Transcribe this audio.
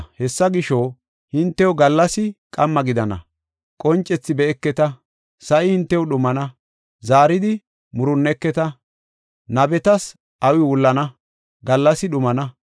Hessa gisho, hintew gallas qamma gidana; qoncethi be7eketa. Sa7i hintew dhumana; zaaridi murunneketa; nabetas awii wullana; gallasi dhumana.